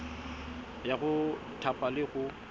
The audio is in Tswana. ya go thapa le go